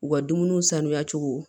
U ka dumuniw sanuya cogo